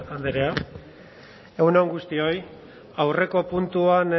andrea egun on guztioi aurreko puntuan